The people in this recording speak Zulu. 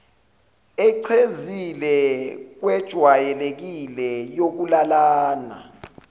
echezile kwejwayelekile yokulalana